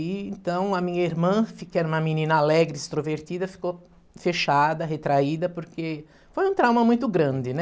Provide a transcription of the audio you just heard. E então a minha irmã, que era uma menina alegre, extrovertida, ficou fechada, retraída, porque foi um trauma muito grande, né?